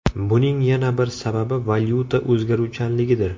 Buning yana bir sababi valyuta o‘zgaruvchanligidir.